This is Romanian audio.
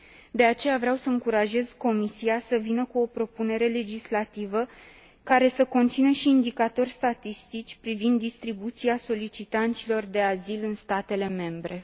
De aceea, vreau să încurajez Comisia să vină cu o propunere legislativă care să conțină și indicatori statistici privind distribuția solicitanților de azil în statele membre.